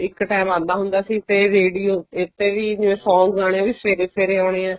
ਇੱਕ ਟੇਮ ਆਉਂਦਾ ਹੁੰਦਾ ਸੀ ਤੇ radio ਇਸ ਤੇ ਵੀ song ਆਉਣੇ ਉਹ ਸਵੇਰੇ ਸਵੇਰੇ ਆਉਣੇ ਆ